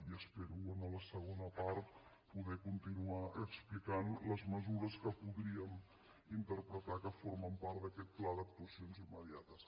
i espero a la segona part poder continuar explicant les mesures que podríem interpretar que formen part d’aquesta pla d’actuacions immediates